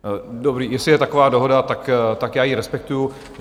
Dobrý, jestli je taková dohoda, tak já ji respektuji.